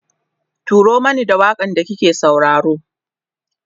turo Mani da waƙan da kike sauraro